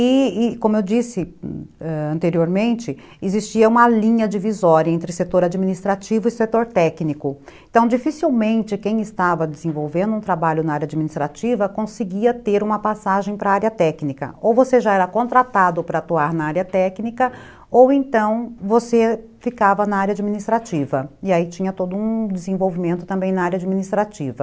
e e como eu disse anteriormente, existia uma linha divisória entre setor administrativo e setor técnico. Então, dificilmente quem estava desenvolvendo um trabalho na área administrativa conseguia ter uma passagem para a área técnica, ou você já era contratado para atuar na área técnica ou então você ficava na área administrativa e aí tinha todo um desenvolvimento também na área administrativa